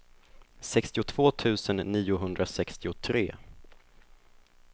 sextiotvå tusen niohundrasextiotre